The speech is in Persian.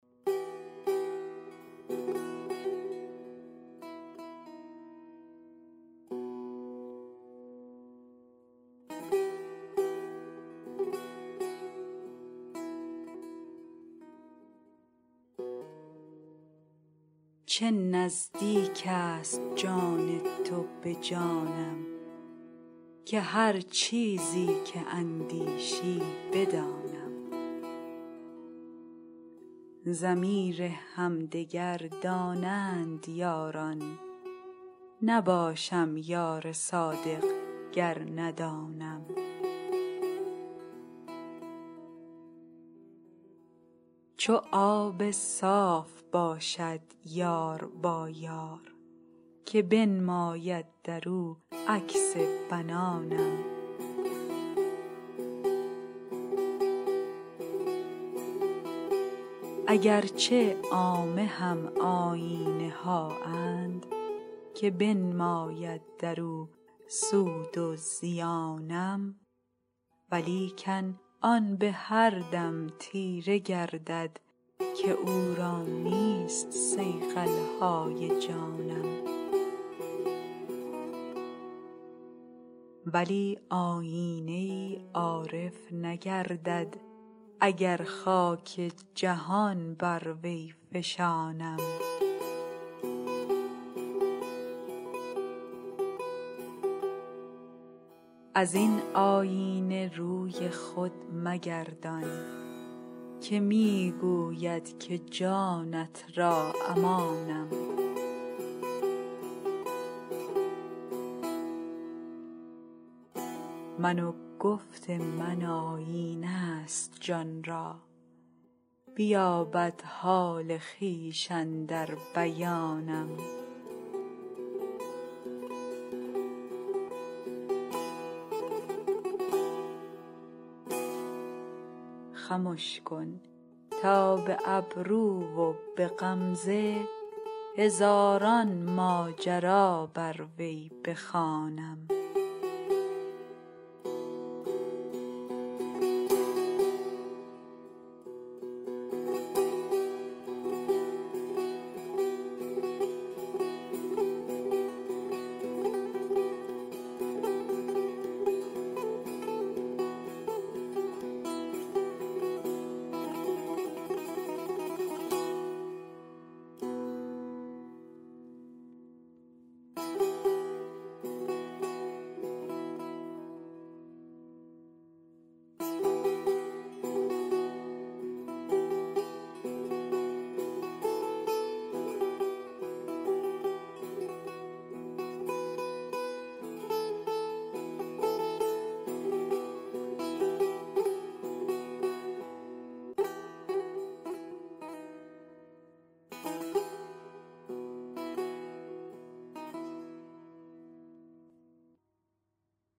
چه نزدیک است جان تو به جانم که هر چیزی که اندیشی بدانم ضمیر همدگر دانند یاران نباشم یار صادق گر ندانم چو آب صاف باشد یار با یار که بنماید در او عکس بنانم اگر چه عامه هم آیینه هااند که بنماید در او سود و زیانم ولیکن آن به هر دم تیره گردد که او را نیست صیقل های جانم ولی آیینه ای عارف نگردد اگر خاک جهان بر وی فشانم از این آیینه روی خود مگردان که می گوید که جانت را امانم من و گفت من آیینه ست جان را بیابد حال خویش اندر بیانم خمش کن تا به ابرو و به غمزه هزاران ماجرا بر وی بخوانم